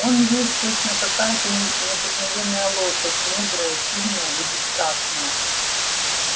он весь точно какая-то необыкновенная лошадь мудрая сильная и бесстрашная